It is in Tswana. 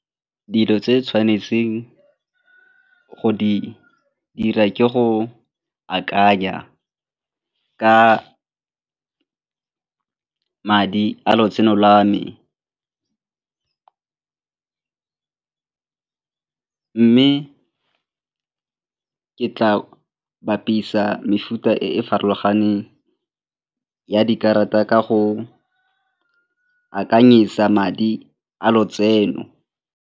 Dilo tse tshwanetseng go di dira ke go akanya ka madi a lotseno lwa me mme ke tla bapisa mefuta e e farologaneng ya dikarata ka go akanyetsa madi a lotseno.